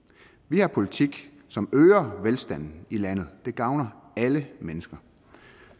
vi har en politik som øger velstanden i landet det gavner alle mennesker